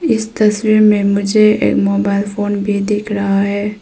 इस तस्वीर में मुझे एक मोबाइल फोन भी दिख रहा है।